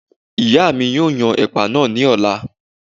ìyá mi yóò yan ẹ̀pà náà ní ọ̀la